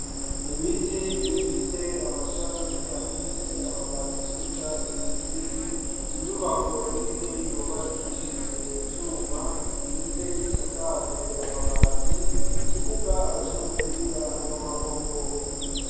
Ibiti bifise amashami afise amababii y'icatse ikibisi inyubako nini yubakishijwe ivyuma, ndetse isakajwe amabati ikibuga aco umupira w'amaboko.